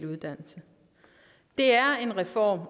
uddannelse og